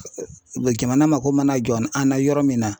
Jamana mako mana jɔ an na yɔrɔ min na